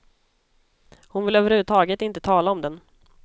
Hon vill överhuvudtaget inte tala om den.